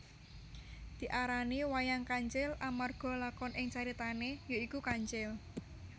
Diarani wayang kancil amarga lakon ing caritane ya iku kancil